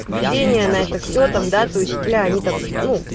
ведение на это все там да то есть бля они там ну